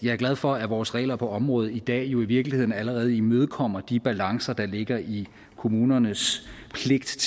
er glad for at vores regler på området i dag jo i virkeligheden allerede imødekommer de balancer der ligger i kommunernes pligt til